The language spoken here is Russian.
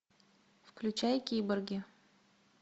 включай киборги